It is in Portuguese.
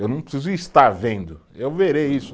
Eu não preciso estar vendo, eu verei isso.